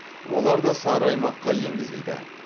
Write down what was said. олар да сары аймаққа енгізілді